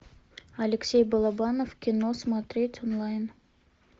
алексей балабанов кино смотреть онлайн